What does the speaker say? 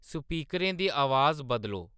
स्पीकरें दी अवाज बदलो